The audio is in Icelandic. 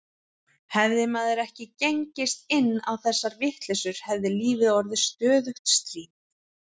Hefði maður ekki gengist inn á þessar vitleysur hefði lífið orðið stöðugt stríð.